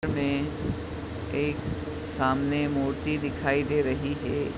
Image मै सामने एक मूर्ति दिखाई दे रही है।